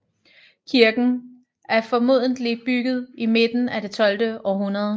Kirken er formodentlig bygget i midten af det tolvte århundrede